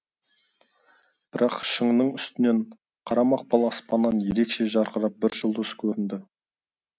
бірақ шыңның үстінен қара мақпал аспаннан ерекше жарқырап бір жұлдыз көрінді